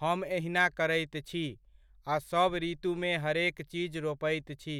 हम एहिना करैत छी आ सब ऋतुमे हरेक चीज रोपैत छी।